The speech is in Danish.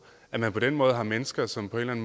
at man på den måde har mennesker som på en